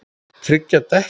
Tryggja dekkin?